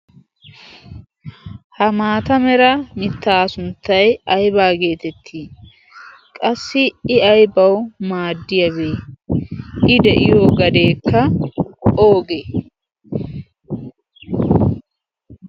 ha maata mera mittaa sunttay aybaa geetettii qassi i aybawu maaddiyaagee i de'iyo gadeekka oogee